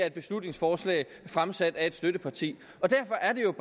et beslutningsforslag fremsat af støttepartiet derfor er